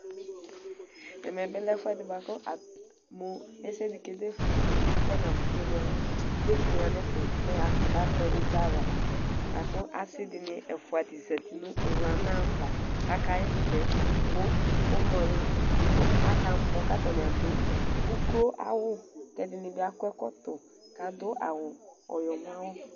Ɛmɛbi lɛ ɛfʋɛdi bʋakʋ mʋ ɛsɛdi kedefʋ kɛ kʋ ɛfʋ nʋ kemedefʋ kʋ yanʋetʋ mɛ yakʋtʋ batɛ izawla lakʋ asudini ɛfʋdi zati nʋ ʋwlana ava kʋ akaxɛsɛ kʋ akamɔ kʋ atani adʋ ʋklo awʋ kʋ ɛdini bi akɔ ɛkɔtɔ kʋ adʋ ɔyɔmɔawʋ.